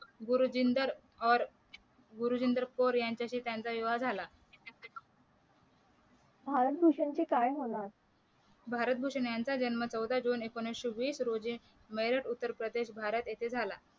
गुरजिंदर और गुरजिंदर कौर यांच्याशी त्यांचा विवाह झाला भारत भूषण चे काय म्हणाल भारत भूषण यांचा जन्म चौदा जून एकोणीशे वीस रोजी मेरठ उत्तर प्रदेश भारत येथे झाला